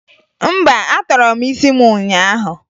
Mba, atọrọ m isi m ụnyaahụ